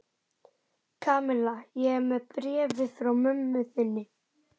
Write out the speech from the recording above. Kamilla, ég er með bréfið frá mömmu þinni.